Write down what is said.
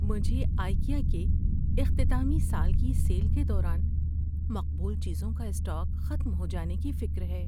مجھے آئیکیا کے اختتامی سال کی سیل کے دوران مقبول چیزوں کا اسٹاک ختم ہو جانے کی فکر ہے۔